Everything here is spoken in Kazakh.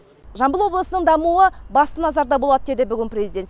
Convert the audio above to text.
жамбыл облысының дамуына баса назарда болады деді бүгін президент